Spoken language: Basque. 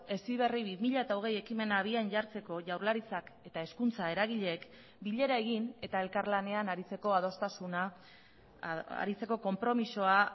heziberri bi mila hogei ekimena abian jartzeko jaurlaritzak eta hezkuntza eragileek bilera egin eta elkarlanean aritzeko adostasuna aritzeko konpromisoa